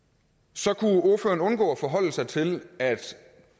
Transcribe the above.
så kunne ordføreren undgå at forholde sig til at